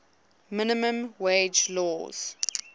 minimum wage laws